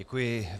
Děkuji.